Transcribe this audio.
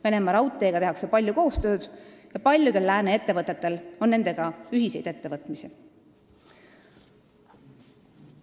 Venemaa Raudteega tehakse palju koostööd ja paljudel lääne ettevõtetel on nendega ühiseid ettevõtmisi.